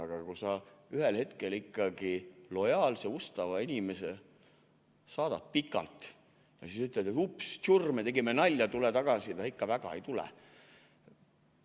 Aga kui sa ühel hetkel ikkagi lojaalse ustava inimese saadad pikalt ja siis ütled, et ups, tsurr, me tegime nalja, tule tagasi, siis ega ikka väga ei tule.